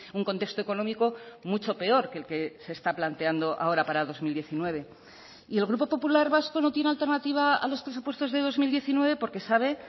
un contexto económico mucho peor que el que se está planteando ahora para dos mil diecinueve y el grupo popular vasco no tiene alternativa a los presupuestos de dos mil diecinueve porque sabe